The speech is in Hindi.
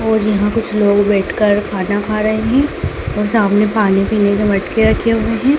और यहां कुछ लोग बैठकर खाना खा रहे हैं और सामने पानी पीने के मटके रखे हुए हैं।